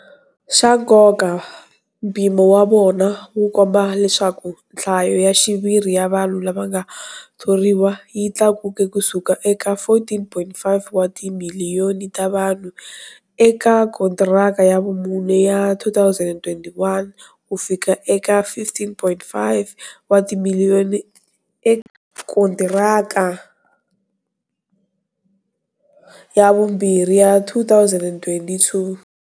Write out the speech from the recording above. Xa nkoka, mpimo wa vona wu komba leswaku nhlayo ya xiviri ya vanhu lava nga thoriwa yi tlakuke kusuka eka 14.5 wa timiliyoni ta vanhu eka kontiraka ya vumune ya 2021 kufika eka 15.5 wa timiliyoni eka kontiraka ya vumbirhi ya 2022.